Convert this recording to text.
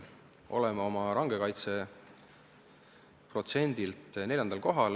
Oleme oma range kaitse protsendilt 4. kohal.